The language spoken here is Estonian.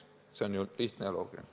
See on ju lihtne ja loogiline.